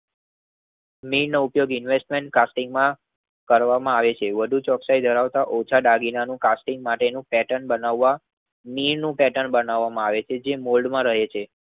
Mean નો ઉપયોગ investment casting માં કરવામાં આવે છે વધુ ચોકસાઈ ધરાવતા ઓછા દાગીનાનું કાસ્ટિંગ માટેનું પેર્ટન બનાવવા મીન નું પેર્ટન બનાવામાં આવે છે જે મોલ્ડ માં રહે છે.